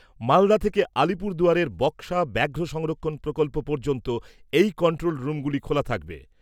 মালদা থেকে আলিপুরদুয়ারের বক্সা ব্যাঘ্র সংরক্ষন প্রকল্প পর্যন্ত এই কন্ট্রোল রুমগুলি খোলা থাকবে।